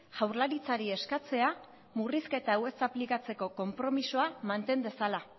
jaurlaritzari eskatzea murrizketa hau ez aplikatzeko konpromisoa manten dezala